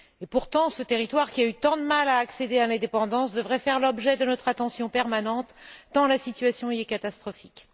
Pourtant, ce territoire qui a eu tant de mal à accéder à l'indépendance devrait faire l'objet de notre attention permanente, tant la situation y est catastrophique.